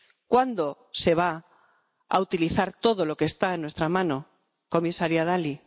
¿Cuándo se va a utilizar todo lo que está en nuestra mano, comisaria Dalli?